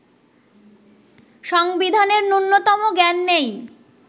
সংবিধানের ন্যূনতম জ্ঞান নেই